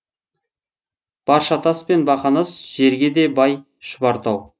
баршатас пен бақанас жерге де бай шұбартау